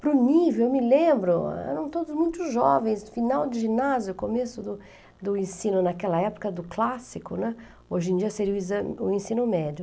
Para o nível, eu me lembro, eram todos muito jovens, final de ginásio, começo do do ensino naquela época do clássico, né, hoje em dia seria o exa o ensino médio.